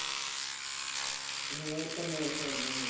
ਹੋਰ ਤਾਂ ਮਾਨਸਾ ਆ ਹੁਣ।